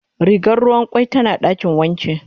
Rigar ruwan kwai tana dakin wanki.